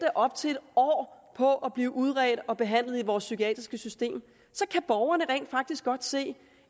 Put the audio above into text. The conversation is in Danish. i op til en år på at blive udredt og behandlet i vores psykiatriske system så kan borgerne rent faktisk godt se